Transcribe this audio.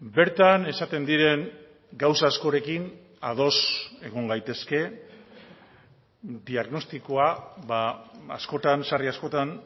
bertan esaten diren gauza askorekin ados egon gaitezke diagnostikoa askotan sarri askotan